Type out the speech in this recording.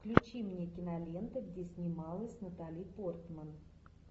включи мне киноленту где снималась натали портман